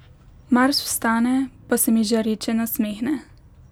Mars vstane pa se mi žareče nasmehne.